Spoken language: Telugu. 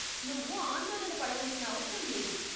నువ్వు ఆందోళన పడవలసిన అవసరం లేదు.